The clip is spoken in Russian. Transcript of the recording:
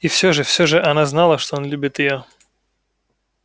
и всё же всё же она знала что он любит её